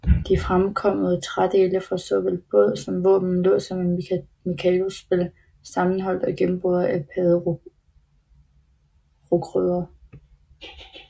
De fremkomne trædele fra såvel båd som våben lå som et mikadospil sammenholdt og gennemboret af padderokrødder